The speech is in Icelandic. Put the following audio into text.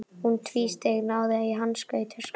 Hún tvísteig, náði í hanska í töskunni.